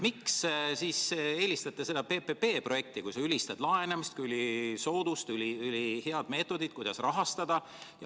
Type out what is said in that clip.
Miks te eelistate PPP-projekti, kui sa ülistad laenamist kui ülisoodsat, ülihead rahastamise meetodit?